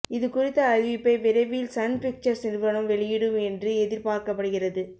இதுகுறித்த அறிவிப்பை விரைவில் சன் பிக்சர்ஸ் நிறுவனம் வெளியிடும் என்று எதிர்பார்க்கப்படுகிறது